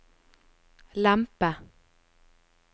lempe